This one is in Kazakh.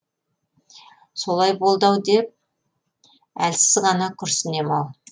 солай болды деп әлсіз ғана күрсінем ау